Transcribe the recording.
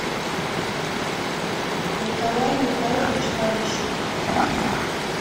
николай михайлович полищук